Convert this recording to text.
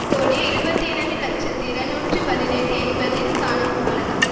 கோடியே இருபத்தி இரண்டு இலட்சத்தி இருநூற்றி பதினெட்டு என்பதில் காணப்படலாம்